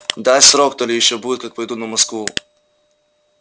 дай срок то ли ещё будет как пойду на москву